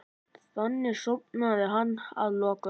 Þannig sofnaði hann að lokum.